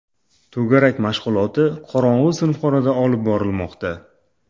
To‘garak mashg‘uloti qorong‘i sinfxonada olib borilmoqda.